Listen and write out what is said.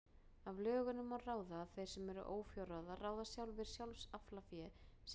Af lögunum má ráða að þeir sem eru ófjárráða ráða sjálfir sjálfsaflafé sínu og gjafafé.